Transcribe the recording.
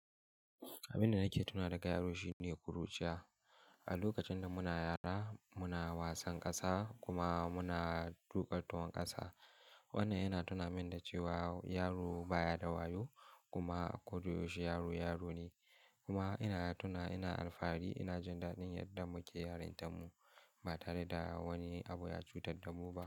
Abin da nake tuna daga yaro shine kuruciya. A lokacin da muna yara muna wasan ƙasa kuma muna tuƙa tuwon ƙasa. Wannan yana tuna min da cewa yaro baya da wayo kuma a koda yaushe yaro, yaro ne. Kuma ina tuna ina alfahari ina jin daɗin yadda muke yarintan mu ba tare da wani abu ya cutar da mu ba.